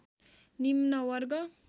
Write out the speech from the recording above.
निम्न वर्ग